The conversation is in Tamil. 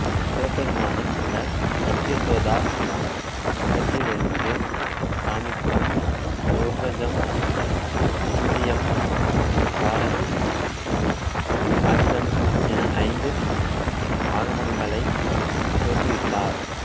சிவபெருமானின் இந்த சத்யோசோத முகத்திலிருந்து காமிகம் யோகஜம் சிந்தியம் காரணம் அஜிதம் என ஐந்து ஆகமங்களை தோற்றுவித்தார்